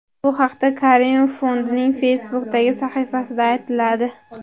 Bu haqda Karimov fondining Facebook’dagi sahifasida aytiladi .